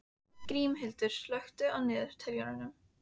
Grímhildur, slökktu á niðurteljaranum.